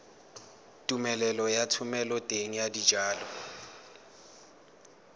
tumelelo ya thomeloteng ya dijalo